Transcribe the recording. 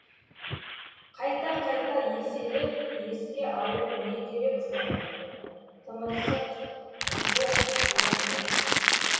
қайта қайта еселеп еске алып не керек соны тымырсық жоқ олай емес